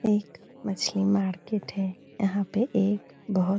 एक मछली मार्केट है यहाँ पे एक बहुत --